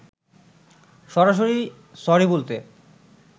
সরাসরি সরি বলতে